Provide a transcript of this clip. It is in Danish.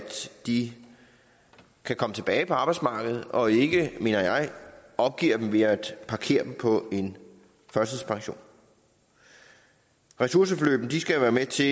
de kan komme tilbage på arbejdsmarkedet og ikke mener jeg opgiver dem ved at parkere dem på en førtidspension ressourceforløbene skal være med til